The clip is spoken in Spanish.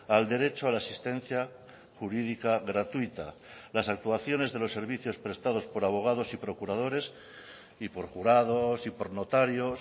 al derecho a la asistencia jurídica gratuita las actuaciones de los servicios prestados por abogados y procuradores y por jurados y por notarios